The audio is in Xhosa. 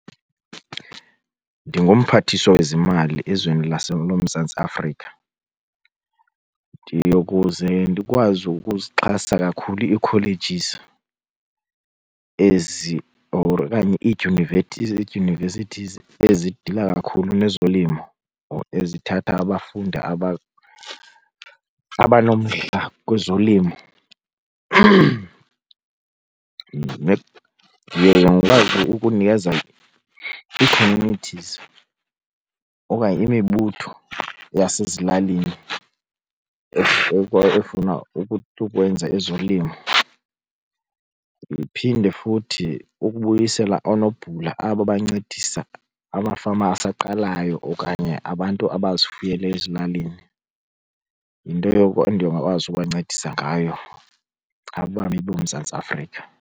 NdinguMphathiswa weziMali ezweni loMzantsi Afrika ndiyokuze ndikwazi ukuzixhasa kakhulu ii-colleges or okanye iidyunivesithizi ezidila kakhulu nezolimo or ezithatha abafundi abanomdla kwezolimo. Ndiye ndikwazi ukunikeza ii-communities okanye imibutho yasezilalini efuna ukwenza ezolimo. Ndiphinde futhi ukubuyisela oonobhula aba bancedisa amafama asaqalayo okanye abantu abazifuyele ezilalini. Yinto yoko endingakwazi ukubancedisa ngayo abami boMzantsi Afrika.